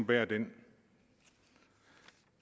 bære den